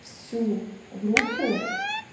всю группу